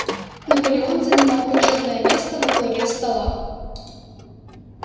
наполеон занимал почётное место во главе стола